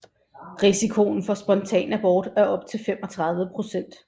Risikoen for spontan abort er op til 35 procent